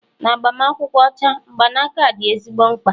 na agbamakwụkwọ ọcha, mgbanaka dị ezigbo mkpa